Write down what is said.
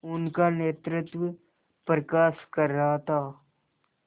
उनका नेतृत्व प्रकाश कर रहा था